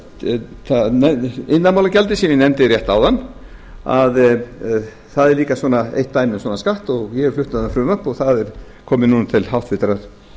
svo er það iðnaðarmálagjaldið sem ég nefndi rétt áðan að það er líka eitt dæmi um svona skatt og ég hef flutt um það frumvarp og það er komið núna til háttvirtrar